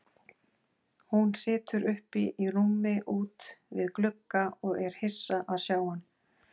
Hún situr uppi í rúmi út við glugga og er hissa að sjá hann.